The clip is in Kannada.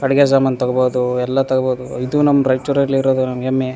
ಅಡ್ಗೆ ಸಾಮಾನ್ ತಗೋಬೋದು ಎಲ್ಲ ತಗೋಬೋದು ಇದು ನಮ್ ರಾಯ್ಚೂರಲ್ಲಿರೋದು ನಮ್ ಹೆಮ್ಮೆ.